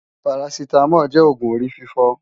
Parasitamol jè ógún óri fifò